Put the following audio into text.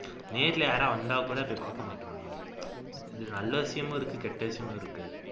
நேர்ல யாராவது வந்தாக்கூட பாக்க மாட்டேன்றாங்க இது நல்ல விசயமும் இருக்கு கெட்ட விசயமும் இருக்கு